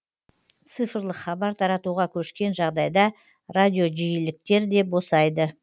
цифрлық хабар таратуға көшкен жағдайда радиожиіліктер де босайды